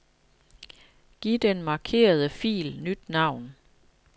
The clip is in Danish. Giv den markerede fil nyt navn.